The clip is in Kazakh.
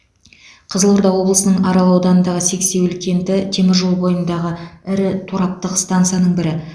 қызылорда облысының арал ауданындағы сексеуіл кенті темір жол бойындағы ірі тораптық стансаның бірі